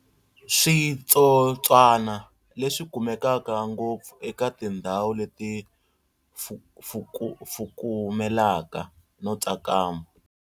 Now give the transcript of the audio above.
Switsotswana leswi swi kumeka ngopfu eka tindhawu leti fukumelaka no tsakama.